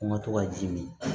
Ko n ka to ka ji min